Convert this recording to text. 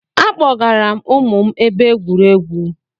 Akpọgara m ụmụ m ebe egwuregwu